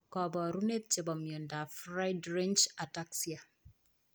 Kaparunet chepo miondap friedreich ataxia